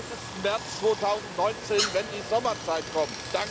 31. März 2019, wenn die Sommerzeit kommt.